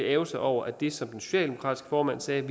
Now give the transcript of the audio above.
ærgre sig over at det som den socialdemokratiske formand sagde